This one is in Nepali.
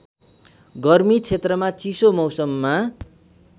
गर्मी क्षेत्रमा चिसो मौसममा